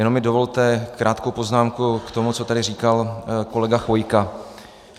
Jenom mi dovolte krátkou poznámku k tomu, co tady říkal kolega Chvojka.